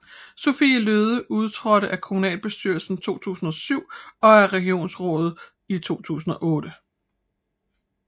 Sophie Løhde udtrådte af kommunalbestyrelsen 2007 og af regionsrådet i 2008